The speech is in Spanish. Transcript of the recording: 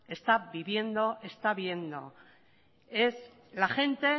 está viviendo está viendo es la gente